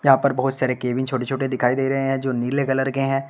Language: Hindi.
यहां पर बहुत सारे केबिन छोटे छोटे दिखाई दे रहे हैं जो नीले कलर के हैं।